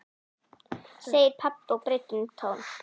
segir pabbi og breytir um tón.